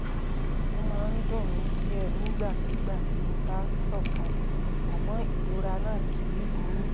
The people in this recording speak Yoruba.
ó máa ń dùn mí díẹ̀ nígbàkigbà tí mo bá sọ̀kalẹ̀ àmọ́ ìrora náà kìí burú